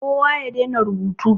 Kowa ya dena rubutu.